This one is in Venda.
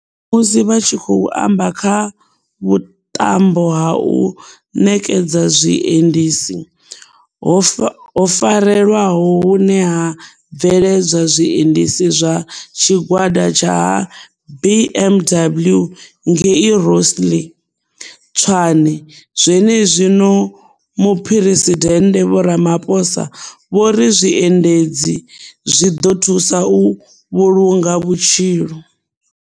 Musi vha tshi khou amba kha vhuṱambo ha u ṋekedza zwiendisi, ho farelwaho hune ha bveledzwa zwiendisi zwa Tshigwada tsha ha BMW ngei Rosslyn, Tshwane zwenezwino, Muphuresidennde Vho Ramaphosa vho ri zwiendisi zwi ḓo thusa u vhulunga vhutshilo.